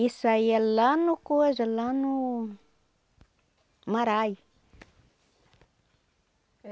Isso aí é lá no coisa, lá no... Marae.